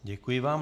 Děkuji vám.